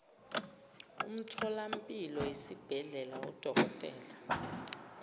umtholampilo isibhedlela udokotela